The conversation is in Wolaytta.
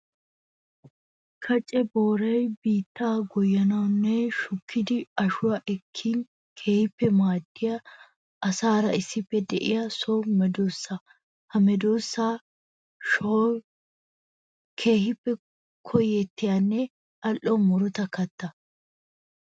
Kaccamma booray biitta goyyanawunne shukkiddi ashuwa ekkin keehippe maadiya asaara issippe de'iya so medosa. Ha medosa ashoy keehippe koyettiyanne ali'o murutta katta.